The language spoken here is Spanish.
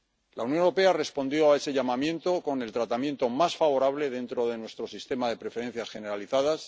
La Unión Europea respondió a ese llamamiento con el tratamiento más favorable dentro de nuestro sistema de preferencias generalizadas.